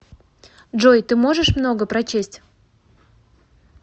джой ты можешь много прочесть